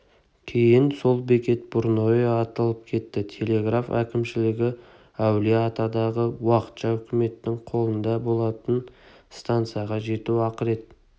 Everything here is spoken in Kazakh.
кейіннен сол бекет бурное аталып кетті телеграф әкімшілігі әулие-атадағы уақытша үкіметтің қолында болатын станцияға жету ақырет